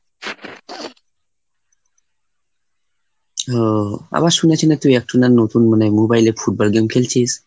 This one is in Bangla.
ও আবার শুনেছি না তুই একটু না নতুন মানে mobile এ football game খেলছিস?